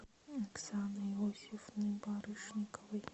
оксаны иосифовны барышниковой